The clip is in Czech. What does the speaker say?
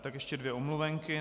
tak ještě dvě omluvenky.